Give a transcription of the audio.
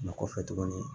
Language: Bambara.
Mɛ kɔfɛ tuguni